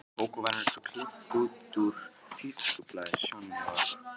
Kókó var eins og klippt út úr tískublaði, Sjonni og